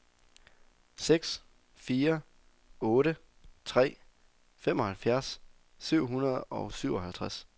seks fire otte tre femoghalvfjerds syv hundrede og syvoghalvtreds